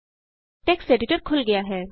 text editor ਖੁਲ੍ਹ ਗਿਆ ਹੈ